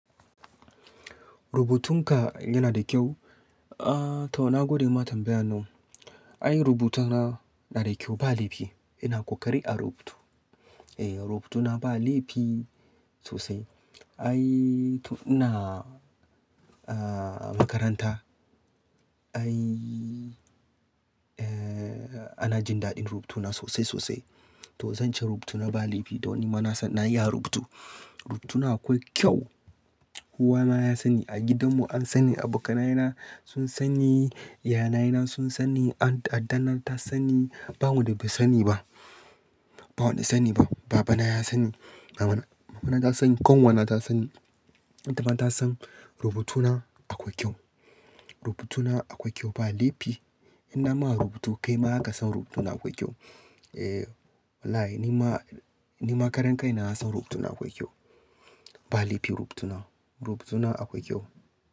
Rubutunka yana da kyau. Aaa, to na gode ma tambayan nan. Ai rubutunan na da kyau ba laifi. Ina ƙoƙari a rubutu. Eh, rubutuna ba laifi sosai. Ai to ina aaa makaranta. Ai, eh ana jin daɗin rubutuna sosai sosai. To zan ce rubutuna ba laifi don ni ma nasan na iya rubutu. Rubutuna akwai kyau. Uwa na ya sani, a gidanmu an sani, abokanaye na sun sani, iyayena sun sani, addanar ta sani. Ba wanda bai sani ba. Ba wanda sani ba. Baba na ya sani, mama na, mama na ta sani, ƙanwa na ta sani. Mata ma ta san rubutuna akwai kyau. Rubutuna akwai kyau ba laifi. In na ma rubutu kai ma zaka san rubutuna akwai kyau. Eh, wallahi ni ma, ni ma karen kai na ya san rubutuna akwai kyau. Ba laifi rubutuna. Rubutuna akwai kyau.